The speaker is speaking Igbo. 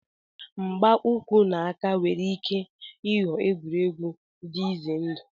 Mgba uku na aka nwere ike ịghọ egwuregwu dị ize ndụ.